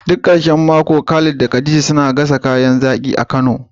Duk ƙarshen mako Khalid da Khadija suna gasa kayan zaƙi a kano.